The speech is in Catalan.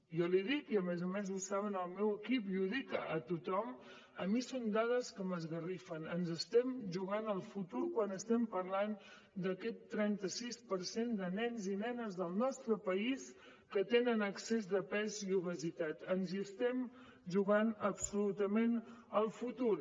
jo l’hi dic i a més a més ho saben el meu equip i ho dic a tothom a mi són dades que m’esgarrifen ens estem jugant el futur quan estem parlant d’aquest trenta sis per cent de nens i nenes del nostre país que tenen excés de pes i obesitat ens hi estem jugant absolutament el futur